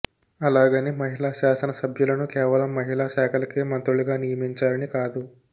అలాగని మహిళా శాసనసభ్యులను కేవలం మహిళా శాఖలకే మంత్రులుగా నియమించాలని కాదు